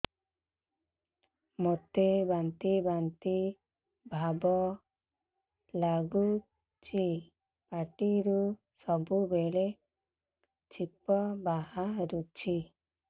ମୋତେ ବାନ୍ତି ବାନ୍ତି ଭାବ ଲାଗୁଚି ପାଟିରୁ ସବୁ ବେଳେ ଛିପ ବାହାରୁଛି